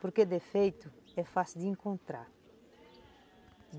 Porque defeito é fácil de encontrar.